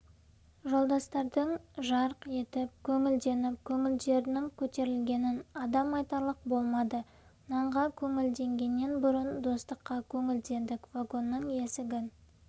жолдастардың жарқ етіп көңілденіп көңілдерінің көтерілгенін адам айтарлық болмады нанға көңілденгеннен бұрын достыққа көңілдендік вагонның есігін